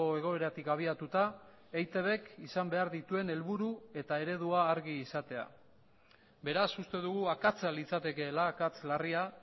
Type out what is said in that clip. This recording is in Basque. egoeratik abiatuta eitbk izan behar dituen helburu eta eredua argi izatea beraz uste dugu akatsa litzatekeela akats larria